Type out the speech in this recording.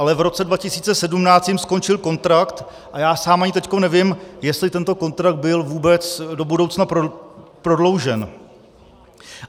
Ale v roce 2017 jim skončil kontrakt a já sám ani teď nevím, jestli tento kontrakt byl vůbec do budoucna prodloužen.